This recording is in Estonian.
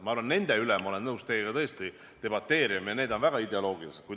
Ma arvan, nende üle ma olen nõus teiega tõesti debateerima ja need on väga ideoloogilised teemad.